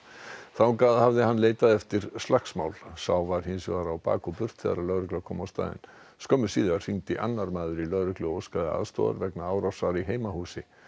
þangað hafði hann leitað eftir slagsmál sá var hins vegar á bak og burt þegar lögregla kom á staðinn skömmu síðar hringdi annar maður í lögreglu og óskaði aðstoðar vegna árásar í heimahúsi